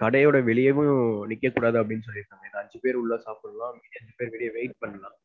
கடையோட வெளியவும் நிக்கக்கூடாது அப்டினு சொல்லிருக்காங்க. ஏன்னா அஞ்சு பேர் உள்ள சாப்பிடலாம், மீதி அஞ்சு பேர் வெளிய wait பண்ணலாம்.